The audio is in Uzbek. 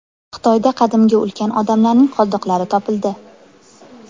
Xitoyda qadimgi ulkan odamlarning qoldiqlari topildi.